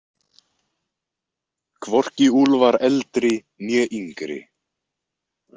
Hvorki Úlfar eldri né yngri.